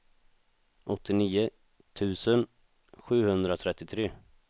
åttionio tusen sjuhundratrettiotre